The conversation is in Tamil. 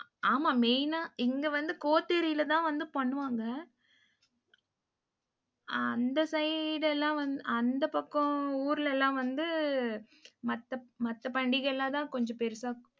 ஆமா, main ஆ இங்க வந்து கோத்தேரியிலதான் வந்து பண்ணுவாங்க. ஆஹ் அந்த side எல்லாம் வந்~ அந்தப் பக்கம் ஊர்ல எல்லாம் வந்து மத்த மத்த பண்டிகை எல்லாம்தான் கொஞ்சம் பெருசா